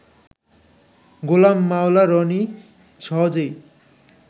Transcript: গোলাম মাওলা রনি সহজেই